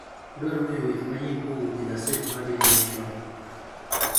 Adwaro ng'eyo weche manyien kowuok egaset mar daily nation